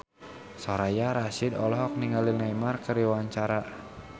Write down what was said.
Soraya Rasyid olohok ningali Neymar keur diwawancara